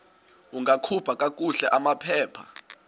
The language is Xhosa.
ungakhupha kakuhle amaphepha